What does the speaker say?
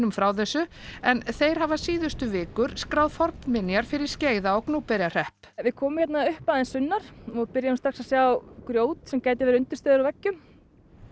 frá þessu en þeir hafa síðustu vikur skráð fornminjar fyrir Skeiða og Gnúpverjahrepp við komum hérna upp aðeins sunnar og byrjuðum strax að sjá grjót sem gætu verið undirstöður að veggjum